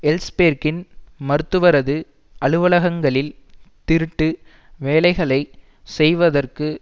எல்ஸ்பேர்க்கின் மருத்துவரது அலுவலகங்களில் திருட்டு வேலைகளை செய்வதற்கு